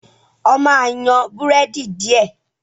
ọ má yan Búrẹ́dì diẹ!